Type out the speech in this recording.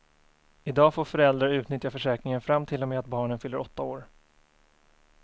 I dag får föräldrar utnyttja försäkringen fram till och med att barnen fyller åtta år.